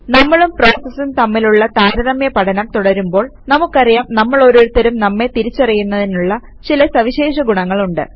നമ്മളും പ്രോസസസും തമ്മിലുള്ള താരതമ്യ പഠനം തുടരുമ്പോൾ നമുക്കറിയാം നമ്മളോരുത്തർക്കും നമ്മെ തിരിച്ചറിയുന്നതിനുള്ള ചില സവിശേഷ ഗുണങ്ങളുണ്ട്